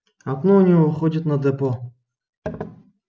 окно у него выходило на депо